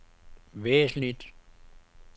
væsentligt